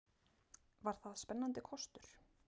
Var það spennandi kostur?